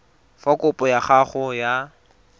fa kopo ya gago ya